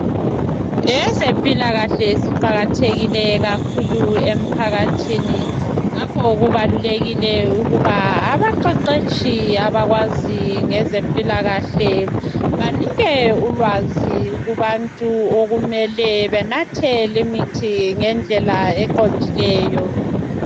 Ezempilakahle ziqakathekile kakhulu emphakathini. Ngakho kubalulekile ukuba abaqeqetshi abakwazi ngezempilakahle, banike ulwazi, kubantu, okumele benathe limithi ngendlela eqondileyo.